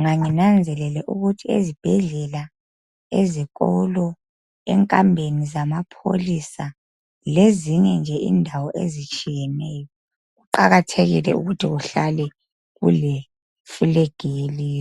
nganginanzelele ukuthi ezibhedlela, ezikolo, enkambeni zamapholisa lezinye nje indawo ezitshiyeneyo. Kuqakathekile ukuthi kuhlale kule flag yelizwe.